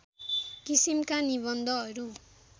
किसिमका निबन्धहरू